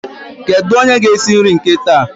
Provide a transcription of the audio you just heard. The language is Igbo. Kedu onye ga esi nri nke taa?